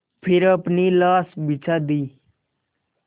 फिर अपनी लाश बिछा दी